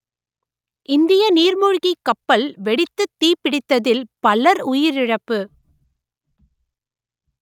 இந்திய நீர்மூழ்கிக் கப்பல் வெடித்துத் தீப்பிடித்ததில் பலர் உயிரிழப்பு